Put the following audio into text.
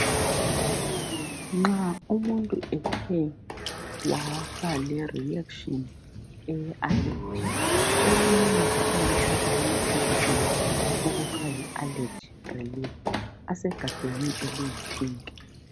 Nxa umuntu ethe waba le"reaction" eye"allergy" uyenelisa ukuthatha amaphilizi i la okuthiwa yi "Allergy relief" asegabheni eliyi"pink".